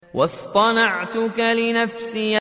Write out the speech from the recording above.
وَاصْطَنَعْتُكَ لِنَفْسِي